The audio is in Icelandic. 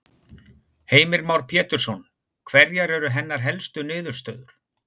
Heimir Már Pétursson: Hverjar eru hennar helstu niðurstöður?